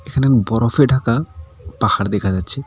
এখানে বরফে ঢাকা পাহাড় দেখা যাচ্ছে।